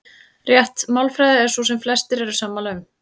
Rétt málfræði er sú sem flestir eru sammála um.